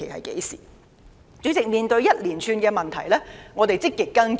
主席，面對沙中線項目一連串的問題，我們積極跟進。